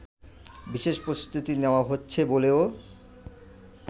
বিশেষ প্রস্তুতি নেওয়া হচ্ছে বলেও